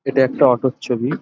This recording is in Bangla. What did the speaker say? এটা একটা অটো -র ছবি--